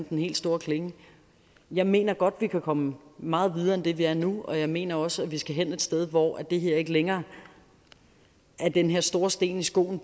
den helt store klinge jeg mener godt vi kan komme meget videre end vi er nu og jeg mener også at vi skal hen et sted hvor det her ikke længere er den her store sten i skoen